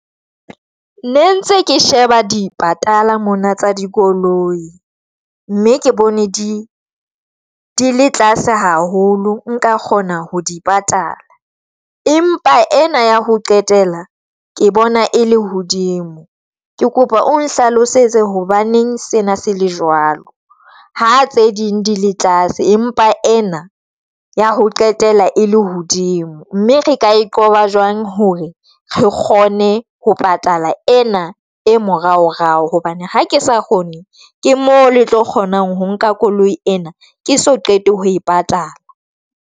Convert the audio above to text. Ne ntse ke sheba di patala mona tsa dikoloi, mme ke bone di le tlase haholo. Nka kgona ho di patala. Empa ena ya ho qetela ke bona e le hodimo, ke kopa o nhlalosetse hobaneng sena se le jwalo, ha tse ding di le tlase empa ena ya ho qetela e le hodimo mme re ka e qoba jwang hore re kgone ho patala ena e morao rao hobane ha ke sa kgone ke mo le tlo kgonang ho nka Koloi ena ke so qete ho e patala?